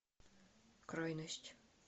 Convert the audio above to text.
крайность